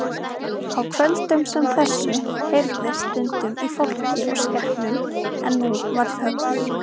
Á kvöldum sem þessu heyrðist stundum í fólki og skepnum en nú var þögn.